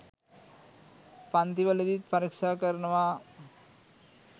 පන්තිවලදීත් පරික්ෂා කරනවා.